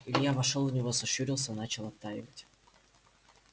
илья вошёл в него сощурился начал оттаивать